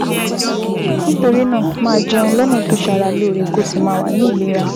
Nítorí náà, máa jẹun lọ́nà tó ṣara lóore, kó o sì máa wà ní ìlera